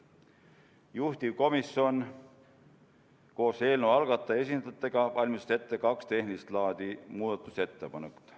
Juhtivkomisjon koos eelnõu algataja esindajatega valmistas ette kaks tehnilist laadi muudatusettepanekut.